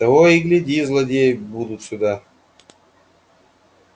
того и гляди злодеи будут сюда